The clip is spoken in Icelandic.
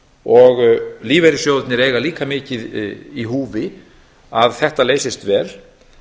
og lífeyrissjóðirnir eiga líka mikið í húfi að þetta leysist vel